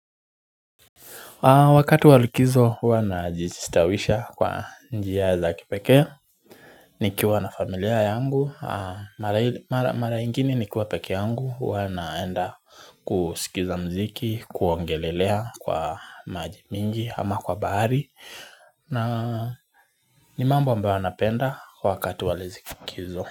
Wakati wa likizo huwa najistawisha kwa njia za kipekee nikiwa na familia yangu mara mara ingine nikiwa peke yangu huwa naenda kusikiza muziki kuogelea kwa maji mingi ama kwa bahari na ni mambo ambayo napenda wakati wa likizo.